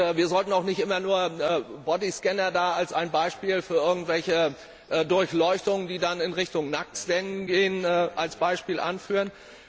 Wir sollten auch nicht immer nur Körperscanner als ein Beispiel für irgendwelche Durchleuchtungen, die dann in Richtung Nacktscannen gehen, als Beispiel anführen.